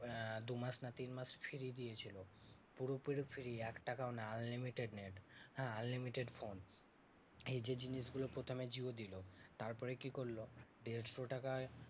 আহ দুমাস না তিনমাস free দিয়েছিলো। পুরোপুরি free এক টাকাও না unlimited net হ্যাঁ unlimited ফোন। এই যে জিনিসগুলো প্রথমে জিও দিলো। তারপরে কি করলো? দেড়শো টাকায়